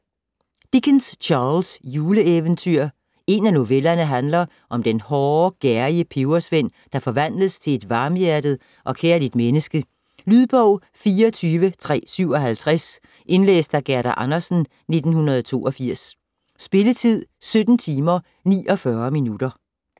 Dickens, Charles: Juleeventyr En af novellerne handler om den hårde, gerrige pebersvend, der forvandles til et varmhjertet og kærligt menneske. Lydbog 24357 Indlæst af Gerda Andersen, 1982. Spilletid: 17 timer, 49 minutter.